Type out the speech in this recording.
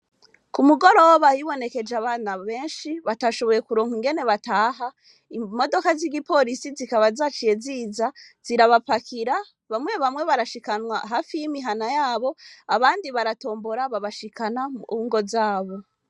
Ku mugoro bahibonekeje abana benshi batashoboye kuronka ingene bataha imodoka z'igi polisi zikaba zaciye ziza zirabapakira bamwe bamwe barashikanwa hafi y'imihana yabo abandi baratombora babashikana mwungo zabo.